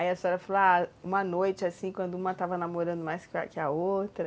Aí a senhora falou, ah, uma noite assim, quando uma estava namorando mais que a outra.